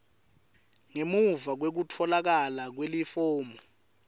ngemuva kwekutfolakala kwelifomu